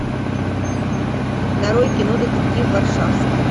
нарой кино детектив варшавски